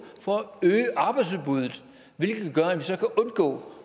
for at øge arbejdsudbuddet hvilket gør at vi så kan undgå